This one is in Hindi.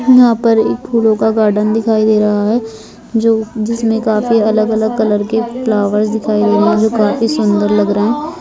यहाँ पर एक फूलों का गार्डन दिखाई दे रहा है जो जिसमें काफी अलग -अलग कलर के फ्लावर्स दिखाई दे रहे है जो काफी सुंदर लग रहे हैं।